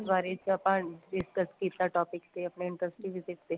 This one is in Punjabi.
ਬਾਰੇ ਚ ਆਪਾਂ discuss ਕੀਤਾ topic ਤੇ ਆਪਣੇ inserting visit ਤੇ